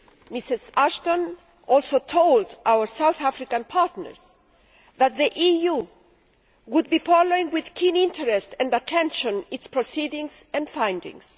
Ms Ashton also told our South African partners that the EU would be following with keen interest and attention its proceedings and findings.